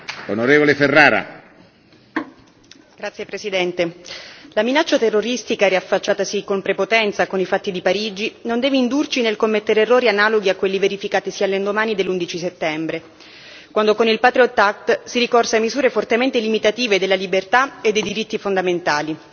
Signor Presidente, onorevoli colleghi, la minaccia terroristica, riaffacciatasi con prepotenza con i fatti di Parigi, non deve indurci nel commettere errori analoghi a quelli verificatisi all'indomani dell'11 settembre, quando con il si ricorse a misure fortemente limitative della libertà e dei diritti fondamentali.